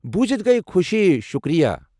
بوٗزِتھ گیہ خوشی ، شکریہ۔